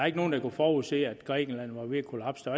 ikke nogen der kunne forudse at grækenland var ved at kollapse